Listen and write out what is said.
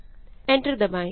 enter दबाएँ